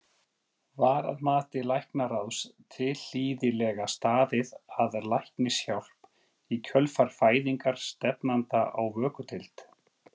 Var að mati læknaráðs tilhlýðilega staðið að læknishjálp í kjölfar fæðingar stefnanda á vökudeild?